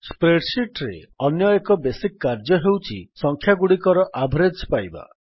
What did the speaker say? Spreadsheetରେ ଅନ୍ୟଏକ ବେସିକ୍ କାର୍ଯ୍ୟ ହେଉଛି ସଂଖ୍ୟାଗୁଡ଼ିକର ଆଭରେଜ୍ ପାଇବା